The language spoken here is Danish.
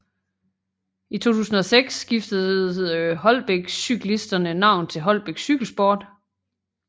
I 2006 skiftede Holbæk Cyklisterne navn til Holbæk Cykelsport